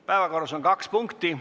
Päevakorras on kaks punkti.